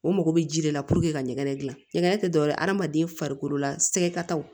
O mago bɛ ji de la puruke ka ɲɛgɛn gilan ɲɛgɛn tɛ dɔwɛrɛ ye hadamaden farikolo la sɛgɛkataw